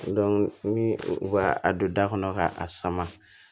ni u ka a don da kɔnɔ ka a sama